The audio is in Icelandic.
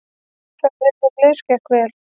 Ferðin heimleiðis gekk vel.